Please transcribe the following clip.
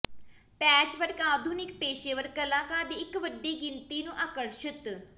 patchwork ਆਧੁਨਿਕ ਪੇਸ਼ੇਵਰ ਕਲਾਕਾਰ ਦੀ ਇੱਕ ਵੱਡੀ ਗਿਣਤੀ ਨੂੰ ਆਕਰਸ਼ਤ